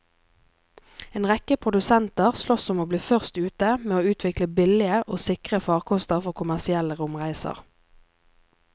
En rekke produsenter sloss om å bli først ute med å utvikle billige og sikre farkoster for kommersielle romreiser.